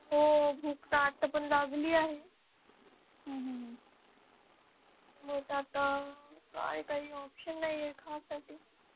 हो भूक तर आता पण लागली आहे मग आता काय काही option नाहीये खाण्यासाठी